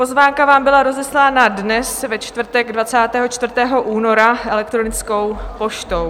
Pozvánka vám byla rozeslána dnes, ve čtvrtek 24. února, elektronickou poštou.